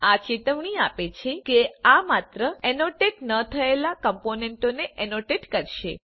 આ ચેતવણી આપે છે કે આ માત્ર ઍનોટેટ ન થયેલા કમ્પોનન્ટોને ઍનોટેટ કરશે